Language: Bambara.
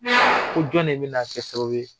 Ko jɔn ne bɛna kɛ sababu ye.